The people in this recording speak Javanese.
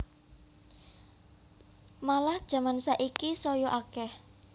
Malah jaman saiki saya akeh